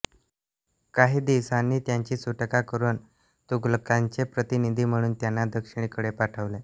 काही दिवसांनी त्यांची सुटका करून तुघलकांचे प्रतिनिधी म्हणून त्यांना दक्षिणेकडे पाठविले